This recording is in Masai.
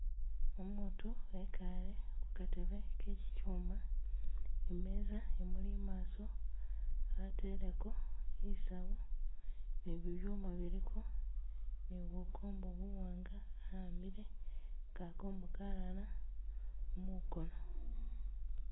Umutu wekale kukatebe kechichuma, imeza i'muli i'maso ateleko i'saawu ni bibyuma biliko ni bukombo buwaanga a'ambile, kakombo kalala mukoono